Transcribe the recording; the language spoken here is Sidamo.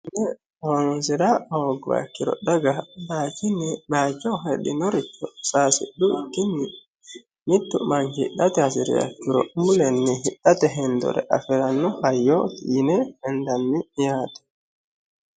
Mine horonsira hoogguha ikkiro daga bayiichinni bayiicho heddinoricho sayisidhukkini mittu manchi hidhate hasiriha ikkiro mulenni hidhate hendore afiranno hayyo yine hendanni yaate.